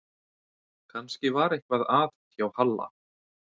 Kannski var eitthvað að hjá Halla